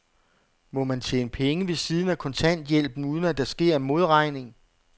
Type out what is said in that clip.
Må man tjene penge ved siden af kontanthjælpen, uden at der sker en modregning?